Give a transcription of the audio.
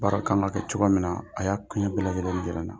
Baara kan ka kɛ cogoya min na a y'a kunɲɛ bɛɛ lajɛlen jira n na.